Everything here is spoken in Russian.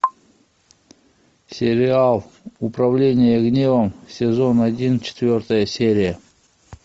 сериал управление гневом сезон один четвертая серия